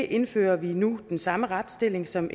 indfører vi nu den samme retsstilling som